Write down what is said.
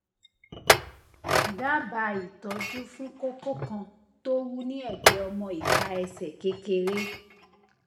dábàá ìtọjú fún kókó kan tó wú ní ẹgbẹ ọmọ ìka ẹsẹ kékeré